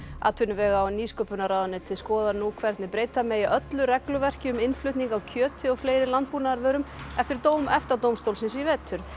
atvinnuvega og nýsköpunarráðuneytið skoðar nú hvernig breyta megi öllu regluverki um innflutning á kjöti og fleiri landbúnaðarvörum eftir dóm EFTA dómstólsins í vetur